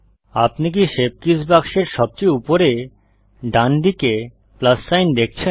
আপনি কি shape keys বাক্সের সবচেয়ে উপরে ডান দিকে প্লাস সাইন দেখছেন